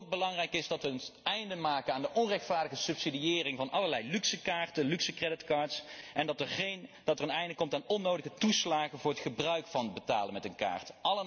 Wat ook belangrijk is, is dat wij een einde maken aan de onrechtvaardige subsidiëring van allerlei luxe creditcards en dat er een einde komt aan onnodige toeslagen voor het gebruik van betalen met een kaart.